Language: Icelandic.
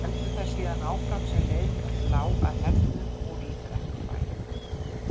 Héldu þær síðan áfram sem leið lá að Hellnum og í Brekkubæ.